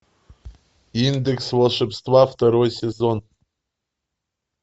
индекс волшебства второй сезон